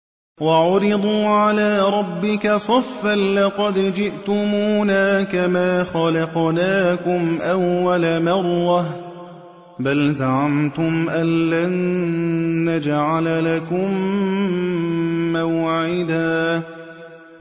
وَعُرِضُوا عَلَىٰ رَبِّكَ صَفًّا لَّقَدْ جِئْتُمُونَا كَمَا خَلَقْنَاكُمْ أَوَّلَ مَرَّةٍ ۚ بَلْ زَعَمْتُمْ أَلَّن نَّجْعَلَ لَكُم مَّوْعِدًا